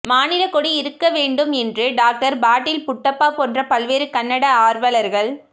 மாநிலக் கொடி இருக்க வேண்டும் என்று டாக்டர்பாட்டீல்புட்டப்பா போன்ற பல்வேறு கன்னட ஆர்வலர்கள்